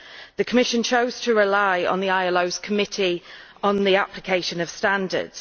The Commission chose to rely on the ILO's Committee on the Application of Standards.